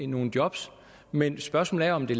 nogle job men spørgsmålet er om det